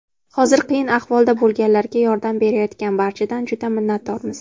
Hozir qiyin ahvolda bo‘lganlarga yordam berayotgan barchadan juda minnatdormiz.